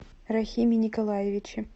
рахиме николаевиче